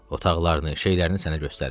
Otaqlarını, şeylərini sənə göstərim.